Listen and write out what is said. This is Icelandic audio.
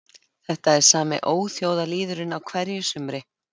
Þetta er sami óþjóðalýðurinn á hverju sumri